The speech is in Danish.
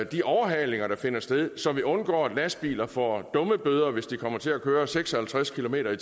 de overhalinger der finder sted så vi undgår at lastbiler får dummebøder hvis de kommer til at køre seks og halvtreds kilometer